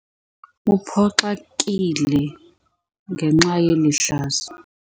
Uphoxekile ngenxa yeli hlazo.